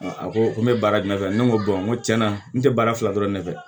a ko ko n bɛ baara jumɛn kɛ ne ko n ko tiɲɛna n tɛ baara fila dɔrɔn ne fɛ